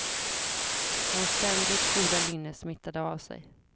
Hans ständigt goda lynne smittade av sig.